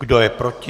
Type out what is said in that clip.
Kdo je proti?